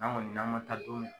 An kɔni n'an man taa don min